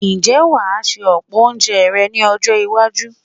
Ǹjẹ́ wà á se ọ̀pọ̀ oúnje rẹ ní ọjọ́-iwájú?